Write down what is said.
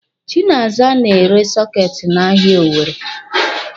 Chinaza na-ere sọketi n'ahia Owere.